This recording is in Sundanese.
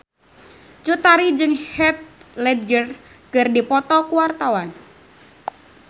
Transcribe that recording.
Cut Tari jeung Heath Ledger keur dipoto ku wartawan